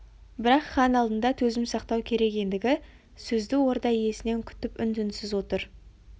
бірақ хан алдында төзім сақтау керек ендігі сөзді орда иесінен күтіп үн-түнсіз отыр